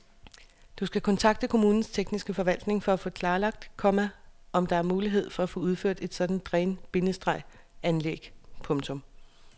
Du skal kontakte kommunens tekniske forvaltning og få klarlagt, komma om der er mulighed for at få udført et sådant dræn- bindestreg anlæg. punktum